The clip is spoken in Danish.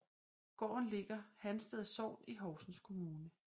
Gården ligger Hansted Sogn i Horsens Kommune